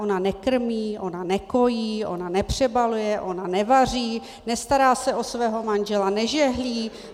Ona nekrmí, ona nekojí, ona nepřebaluje, ona nevaří, nestará se o svého manžela, nežehlí?